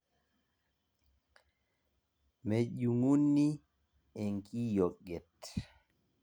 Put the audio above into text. mejung'uni enkiyioget.